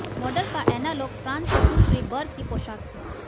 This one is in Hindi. मॉडल का एनालॉग फ्रांस से सुश्री बर्ग की पोशाक थी